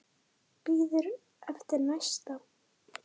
Karen: Bíður eftir næsta?